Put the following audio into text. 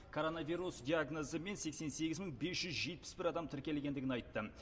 коронавирус диагнозымен сексен сегіз мың бес жүз жетпіс бір адам тіркелгендегін айтты